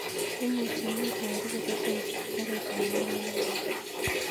Imuchi inyorwon tiketit ap karit ap maat nepo nairobi